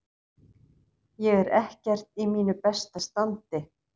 Ég er ekkert í mínu besta standi.